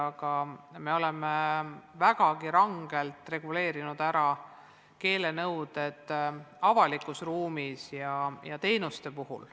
Aga me oleme vägagi rangelt reguleerinud ära keelenõuded avalikus ruumis ja teenuste puhul.